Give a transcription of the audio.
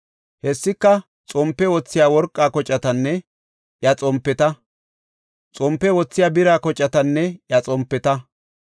Hessika xompe wothiya worqa kocatanne iya xompeta, xompe wothiya bira kocatanne iya xompeta,